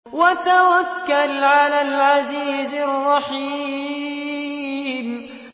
وَتَوَكَّلْ عَلَى الْعَزِيزِ الرَّحِيمِ